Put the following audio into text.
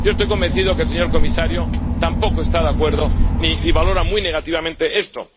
Yo estoy convencido de que el señor comisario tampoco está de acuerdo y valora muy negativamente esto.